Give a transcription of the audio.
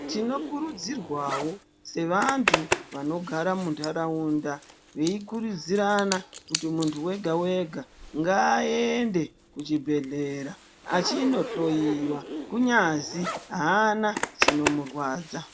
Tinokuridzirwawo sevantu vanogara mundaraunda veyi kuridzirana kuti muntu wega wega ngaaende kuchibhedhlera achinohloyiwa kunyazi haana chinomurwadza.